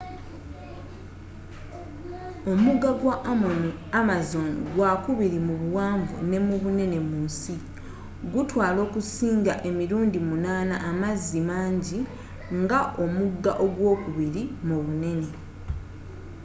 omugga gwa amazon gwa kubiri mu buwanvu ne mu bunene mu nsi gutwala okusinga emirundi 8 amazzi mangi nga omugga ogwokubiri mu bunene